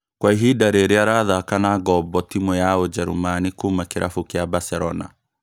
Kwa ihinda rĩrĩ arathaka na ngombo timũ ya ũjerũmani kuuma kĩrabu kĩa Barcelona